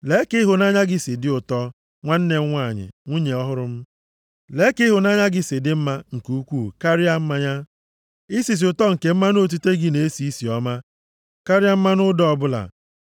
Lee ka ịhụnanya gị si dị ụtọ, nwanne m nwanyị, nwunye ọhụrụ m. Lee ka ịhụnanya gị si dị mma nke ukwuu karịa mmanya, isisi ụtọ nke mmanụ otite gị na-esi isi ọma karịa mmanụ ụda ọbụla.